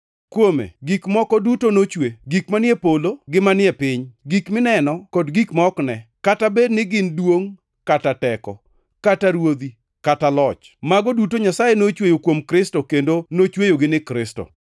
Kuome gik moko duto nochwe; gik manie polo gi manie piny; gik mineno kod gik ma ok ne; kata bed ni gin duongʼ kata teko, kata ruodhi, kata loch. Mago duto Nyasaye nochweyo kuom Kristo kendo nochweyogi ni Kristo.